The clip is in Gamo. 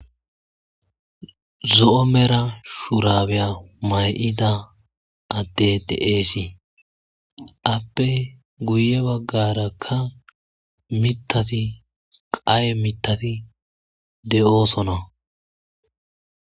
Zo'o medho shurabiya mayida addey dees aappe guye baggarakk mittattii kaye mittattii de'ossonna